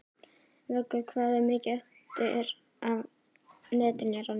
Vöggur, hvað er mikið eftir af niðurteljaranum?